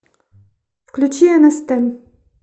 включи нст